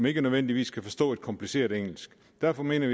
ikke nødvendigvis forstå kompliceret engelsk derfor mener